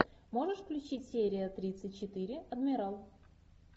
можешь включить серия тридцать четыре адмирал